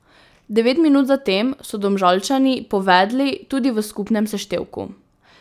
Devet minut zatem so Domžalčani povedli tudi v skupnem seštevku.